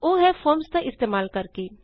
ਓਹ ਹੈ ਫੋਰਮਜ਼ ਦਾ ਇਸਤੇਮਾਲ ਕਰਕੇ